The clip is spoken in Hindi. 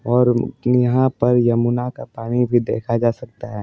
और अ यहां पर यमुना का पानी भी देखा जा सकता है।